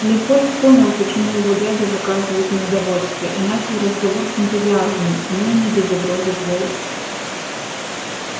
лепольд понял почему его дядя выказывает неудовольствие и начал разговор с энтузиазмом но и не без угрозы в голосе